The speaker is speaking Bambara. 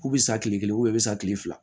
K'u bɛ sa tile kelen u bɛ sa tile fila